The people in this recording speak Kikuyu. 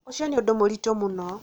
ũcio nĩ ũndũ mũritũ mũno